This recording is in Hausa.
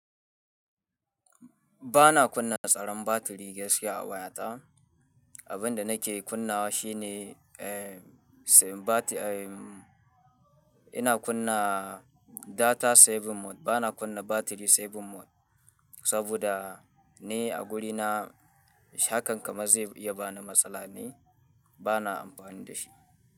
Ba na kunna tsaron batiri gaskiya a wayata. Abin da nake kunnawa shi ne, eh, sayen batti, eh, ina kunna data saving mode. Ba na kunna battery saving mode saboda ni a guduna, hakan kamar zai iya bani matsala ne, ba na amfani da shi.